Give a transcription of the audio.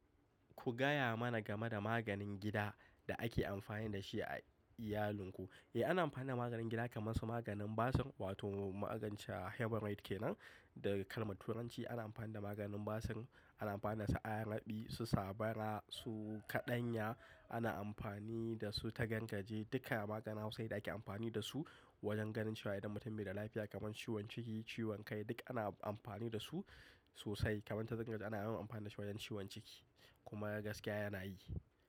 Ku gaya mana game da maganin gida da ake amfani da shi a iyalinku. Eh, ana amfani da maganin gida kamar su maganin basir wato magance "heberite" kenan. Daga kalmar Turanci ana amfani da maganin basir, ana amfani da su a rabi, su sabara, su kaɗanya, ana amfani da su tagangaje. Duka maganin hausa ne da ake amfani da su wajen ganin cewa idan mutum bai da lafiya kamar ciwon ciki, ciwon kai duk ana amfani da su sosai. Kamar tagangaje ana yawan amfani da shi wajen ciwon ciki kuma gaskiya yana yi.